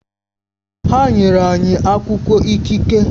Ha nyere anyị akwụkwọ ikike